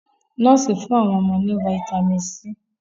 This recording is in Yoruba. Nọ́ọ̀sì fún àwọn ọmọ náà ní fáítámínì C.